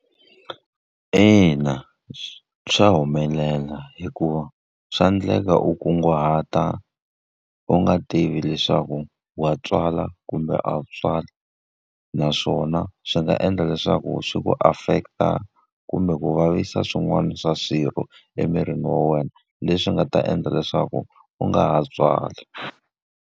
Ina swa humelela hikuva, swa endleka u kunguhata u nga tivi leswaku wa tswala kumbe a wu tswali. Naswona swi nga endla leswaku swi ku affect-a kumbe ku vavisa swin'wana swa swirho emirini wa wena leswi nga ta endla leswaku u nga ha tswali.